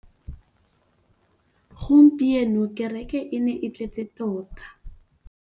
Gompieno kêrêkê e ne e tletse tota.